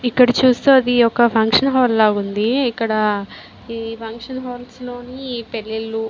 ఇక్కడ చూస్తే అది ఒక ఫంక్షన్ హాల్ లా ఉంది. ఇక్కడ ఈ ఫంక్షన్ హల్స్ లో పెళ్ళిళ్ళు --